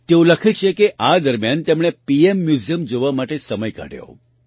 તેઓ લખે છે કે આ દરમિયાન તેમણે પીએમ મ્યૂઝિયમ જોવા માટે સમય કાઢ્યો